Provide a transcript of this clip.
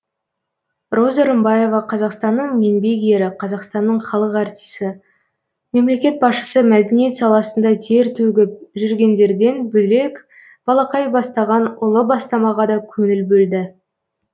роза рымбаева қазақстанның еңбек ері қазақстанның халық артисі мемлекет басшысы мәдениет саласында тер төгіп жүргендерден бөлек балақай бастаған ұлы бастамаға да көңіл бөлді